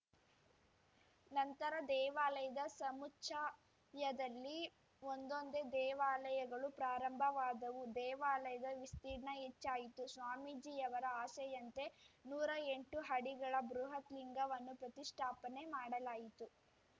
ನಂತರ ದೇವಾಲಯದ ಸಮುಚ್ಚಯದಲ್ಲಿ ಒಂದೊಂದೇ ದೇವಾಲಯಗಳು ಪ್ರಾರಂಭವಾದವು ದೇವಾಲಯದ ವಿಸ್ತೀರ್ಣ ಹೆಚ್ಚಾಯಿತು ಸ್ವಾಮೀಜಿಯವರ ಆಸೆಯಂತೆ ನೂರಾ ಎಂಟು ಅಡಿಗಳ ಬೃಹತ್‌ ಲಿಂಗವನ್ನು ಪ್ರತಿಷ್ಠಾಪನೆ ಮಾಡಲಾಯಿತು